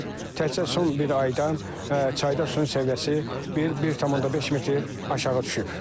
Təkcə son bir ayda çayda suyun səviyyəsi 1,5 metr aşağı düşüb.